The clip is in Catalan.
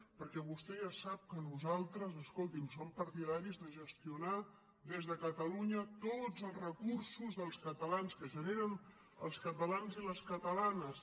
perquè vostè ja sap que nosaltres escolti’m som partidaris de gestionar des de catalunya tots els recursos dels catalans que generen els catalans i les catalanes